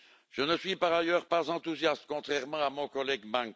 Je ne suis, par ailleurs, pas enthousiaste, contrairement à mon collègue M.